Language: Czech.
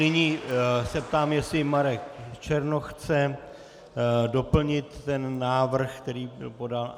Nyní se ptám, jestli Marek Černoch chce doplnit ten návrh, který byl podán.